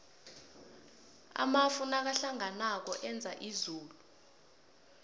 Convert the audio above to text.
amafu nakahlanganako enza izulu